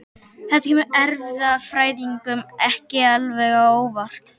Þetta kemur erfðafræðingum ekki alveg á óvart.